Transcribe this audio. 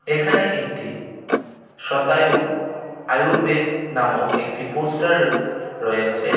এখানে একটি শতায়ু আয়ুর্বেদ নামক একটি পোস্টার রয়েছে .